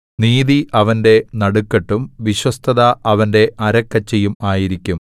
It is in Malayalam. നീതി അവന്റെ നടുക്കെട്ടും വിശ്വസ്തത അവന്റെ അരക്കച്ചയും ആയിരിക്കും